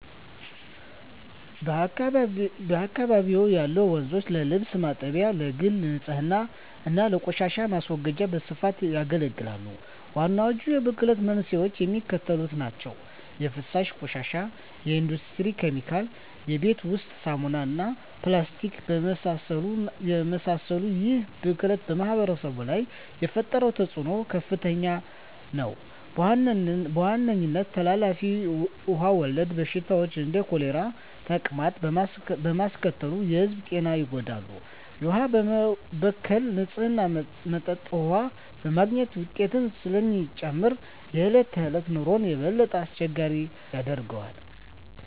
በአካባቢው ያሉ ወንዞች ለልብስ ማጠቢያ፣ ለግል ንፅህና እና ለቆሻሻ ማስወገጃ በስፋት ያገለግላሉ። ዋናዎቹ የብክለት መንስኤዎች የሚከተሉት ናቸው - 1) የፍሳሽ ቆሻሻ 2) የኢንዱስትሪ ኬሚካሎች 3) የቤት ውስጥ ሳሙናዎች እና ፕላስቲክን የመሰሉ ይህ ብክለት በማኅበረሰቡ ላይ የፈጠረው ተፅዕኖ ከፍተኛ ነው፤ በዋናነትም ተላላፊ ውሃ ወለድ በሽታዎችን (እንደ ኮሌራና ተቅማጥ) በማስከተል የሕዝቡን ጤና ይጎዳል። የውሃ መበከል ንፁህ መጠጥ ውሃ የማግኘት ወጪን ስለሚጨምር የዕለት ተዕለት ኑሮን የበለጠ አስቸጋሪ ያደርገዋል።